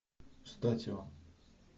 статио